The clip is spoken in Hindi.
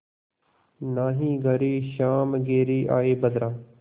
नाहीं घरे श्याम घेरि आये बदरा